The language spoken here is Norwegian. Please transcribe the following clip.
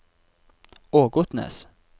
Ågotnes